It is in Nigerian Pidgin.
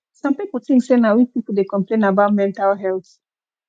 some pipo tink sey sey na weak pipo dey complain about mental health